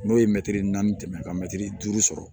N'o ye mɛtiri naani tɛmɛn ka mɛtiri duuru sɔrɔ